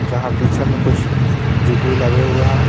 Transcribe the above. जहाँ पीछे में कुछ जुलरी लगे हुए हैं.